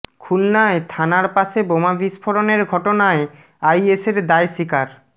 খুলনায় থানার পাশে বোমা বিস্ফোরণের ঘটনায় আইএসের দায় স্বীকার